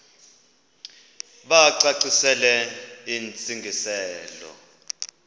bacacisele intsi ngiselo